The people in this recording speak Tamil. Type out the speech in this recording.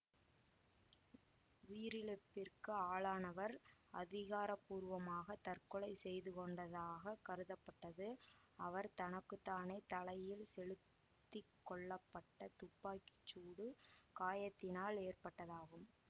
உயிரிழப்பிற்கு ஆளானவர் அதிகாரபூர்வமாக தற்கொலை செய்துக்கொண்டதாகக் கருதப்பட்டது அவர் தனக்கு தானே தலையில் செலுத்தி கொள்ளப்பட்ட துப்பாக்கி சூடு காயத்தினால் ஏற்பட்டதாகும்